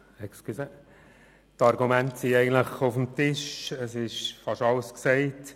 Die Argumente sind eigentlich auf dem Tisch, und fast alles ist gesagt.